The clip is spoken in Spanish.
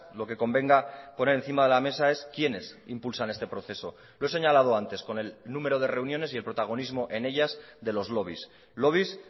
lo que convenga poner encima de la mesa es quiénes impulsan este proceso lo he señalado antes con el número de reuniones y el protagonismo en ellas de los lobbies lobbies